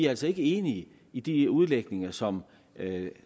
altså ikke enige i de udlægninger som